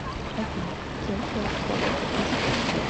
афина кем был подан иск